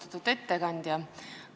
Austatud ettekandja!